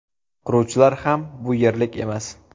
Quruvchilar ham bu yerlik emas.